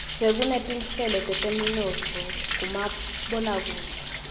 sekunetinhlelo teteminotfo kumaboakudze